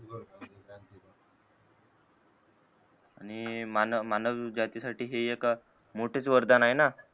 आणि मानव मानव जाती साठी हे एक मोठाच वरदान आहे ना